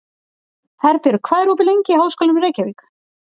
Herbjörg, hvað er opið lengi í Háskólanum í Reykjavík?